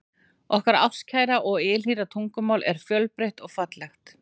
Okkar ástkæra og ylhýra tungumál er fjölbreytt og fallegt.